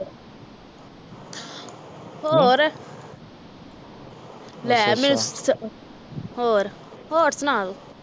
ਹੋਰ ਲੈ ਮੈਂ ਹੋਰ ਹੋਰ ਸੁਣਾ ਤੂੰ